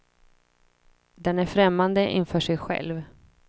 Den är främmande inför sig själv.